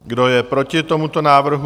Kdo je proti tomuto návrhu?